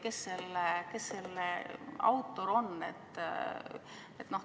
Kes selle nime autor on?